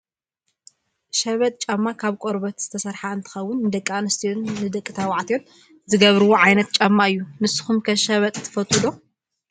ሸበጥ ጫማ ካብ ቆርበት ዝተሰረሓ አንትከውን ንደቂ ኣንስትዮን ደቂ ተባዕትዮን ዝገብርዎ ዓይነት ጫማ እዩ። ንስኩም ከ ሸበጥ ትፈትው ዶ ?